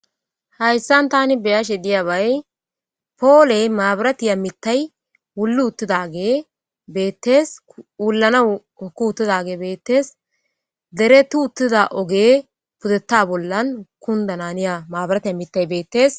hayssan tani beyashe diyabay pooley maabiratiya mittay wullu uttidage bettes wullana oku uttidage beettes dere tu uttida oge pudetta bollan kundananiya maabirat a mittay beettees